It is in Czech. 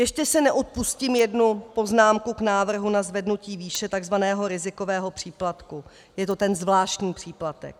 Ještě si neodpustím jednu poznámku k návrhu na zvednutí výše tzv. rizikového příplatku, je to ten zvláštní příplatek.